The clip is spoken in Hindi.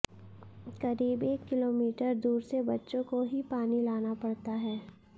करीब एक किलोमीटर दूर से बच्चों को ही पानी लाना पड़ता है